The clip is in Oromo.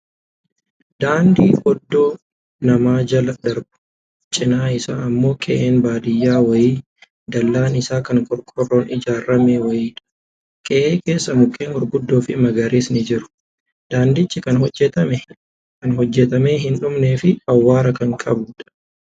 Daandii Oddoo namaa jala darbuu, cinaa isaa ammoo qe'een baadiyyaa wayii, dallaan isaa kan qorqoorroon ijaaramee wayiidha. Qe'ee keessa mukkeen gurguddoo fi magariisni jiru. Daandiichi kan hojjatamee hin dhumnee fi awwaara kan qabuudha.